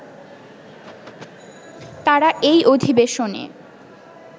তাঁরা এই অধিবেশনে